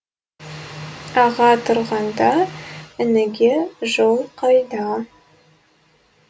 аға тұрғанда ініге жол қайда